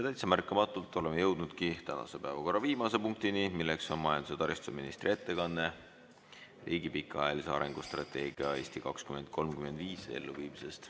Täitsa märkamatult olemegi jõudnud tänase päevakorra viimase punktini: majandus‑ ja taristuministri ettekanne riigi pikaajalise arengustrateegia "Eesti 2035" elluviimisest.